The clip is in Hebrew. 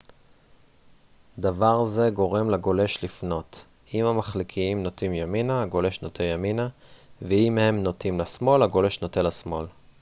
דבר זה גורם לגולש לפנות אם המחליקיים נוטים ימינה הגולש נוטה ימינה ואם הם נוטים לשמאל הגולש נוטה לשמאל